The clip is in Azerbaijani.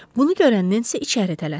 Bunu görən Nensi içəri tələsdi.